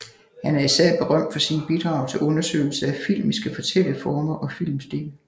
Han er især berømt for sine bidrag til undersøgelser af filmiske fortælleformer og filmstil